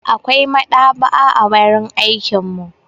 Akwai maɗaba'a a wurin aikin mu.